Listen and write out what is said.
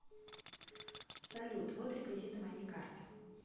салют вот реквизиты моей карты